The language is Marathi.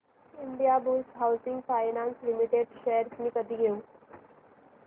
Indiabulls housing finance limited shares मी कधी घेऊ